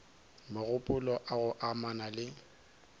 mogopolo a go amana le